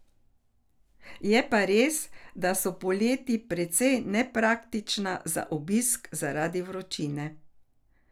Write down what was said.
Je pa res, da so poleti precej nepraktična za obisk zaradi vročine.